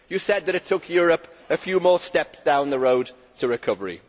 They said that these took Europe a few more steps down the road to recovery.